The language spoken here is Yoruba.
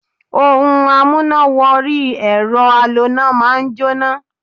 Ohun amúná-wọ-orí-ẹ̀rọ aloná máa ń jóná.